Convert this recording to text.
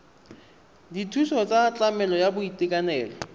dithuso tsa tlamelo ya boitekanelo